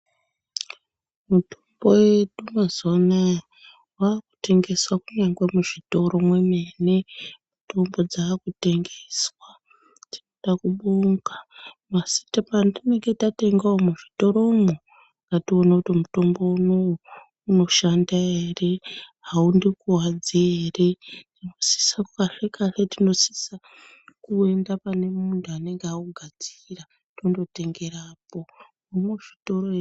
Mitombo yedu mazuwa anaa wakutengeswa kunyange muzvitoro mwemene ndopadzakutengeswa. Tinoda kubonga, patinenge tatengewo muzvitoromwo ngatione kuti mitombo unou unoshanda here, haundikwadzi here. Tinosisa kahle kahle tinosisa kuenda pane muntu anenge augadzira tondotengerapo muzvitoro.